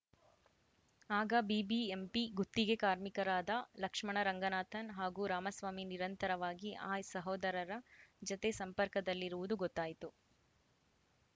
ಆಗ ಬಿಬಿಎಂಪಿ ಗುತ್ತಿಗೆ ಕಾರ್ಮಿಕರಾದ ಲಕ್ಷ್ಮಣ ರಂಗನಾಥನ್‌ ಹಾಗೂ ರಾಮಸ್ವಾಮಿ ನಿರಂತರವಾಗಿ ಆಯಿ ಸಹೋದರರ ಜತೆ ಸಂಪರ್ಕದಲ್ಲಿರುವುದು ಗೊತ್ತಾಯಿತು